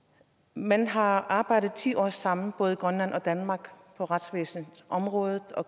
man har arbejdet ti år sammen både i grønland og danmark på retsvæsenets område og